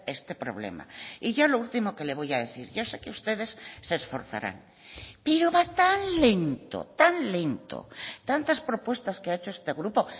este problema y ya lo último que le voy a decir ya sé que ustedes se esforzarán pero va tan lento tan lento tantas propuestas que ha hecho este grupo